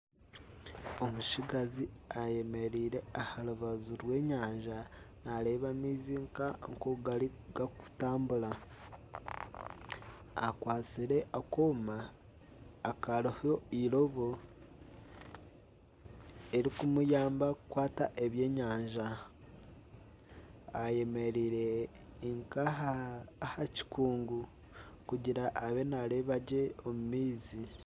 Omutsigazi ayemereire aha rubaju rw'enyanja nareeba amaizi nka okugarikutambura akwatsire akooma akariho eirobo eririkumuyamba kukwata ebyenyanja ayemereire nka aha kikungu kugira abe nareeba gye omu maizi.